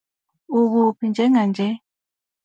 Ukuphi njenganje?